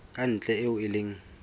ka ntle eo e leng